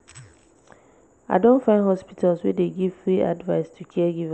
i don find hospitals wey dey give free advice to caregivers.